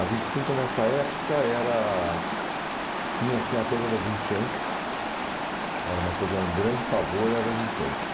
A vinte e cinco nessa época era, tinha assim a coisa das enchentes, era uma coisa, era um grande pavor, era as enchentes.